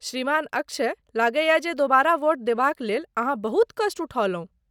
श्रीमान अक्षय, लगैए जे दोबारा वोट देबाक लेल अहाँ बहुत कष्ट उठौलहुँ।